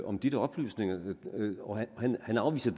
om de der oplysninger og han afviser